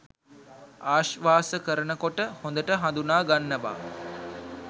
ආශ්වාස කරන කොට හොඳට හඳුනාගන්නවා